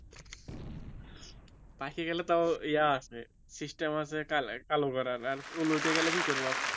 পাইকা গেলে তাও ইয়ে আছে system আছে কালো করার আর চুল উঠে গেলে কি করবো